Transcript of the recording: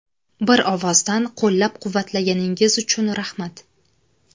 Bir ovozdan qo‘llab-quvvatlaganingiz uchun rahmat.